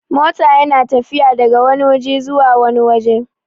mota yana tafiya daga Wani waje zuwa wani waje